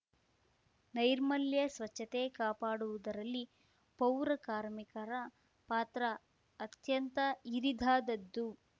ನೈರ್ಮಲ್ಯ ಸ್ವಚ್ಚತೆ ಕಾಪಾಡುವುದರಲ್ಲಿ ಪೌರಕಾರ್ಮಿಕರ ಪಾತ್ರ ಅತ್ಯಂತ ಹಿರಿದಾದ್ದದು